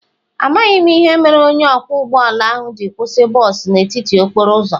Amaghị m ihe mere onye ọkwọ ụgbọ ala ahụ ji kwụsị bọs n'etiti okporo ụzọ.